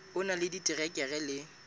o na le diterekere le